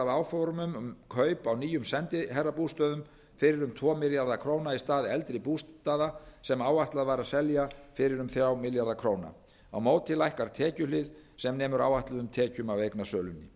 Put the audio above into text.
áformum um kaup á nýjum sendiherra bústöðum fyrir um tvo milljarða króna í stað eldri bústaða sem áætlað var að selja fyrir um þrjá milljarða króna móti lækkar tekjuhliðin sem nemur áætluðum tekjum af eignasölunni